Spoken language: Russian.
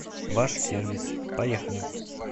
ваш сервис поехали